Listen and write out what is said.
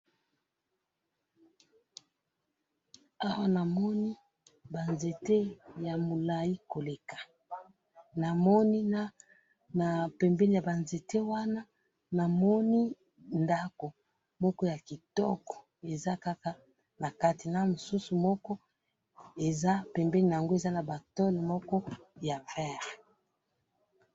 awa namoni ba nzete ya mulayi koleka namoni na na pembeni yaba nzete wana namoni ndaku moko ya kitoko eza kaka nakatu namisusu moko pembeni nango eza naba tole ya vert.